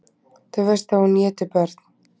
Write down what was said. Þú veist að hún étur börn.